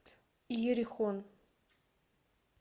иерихон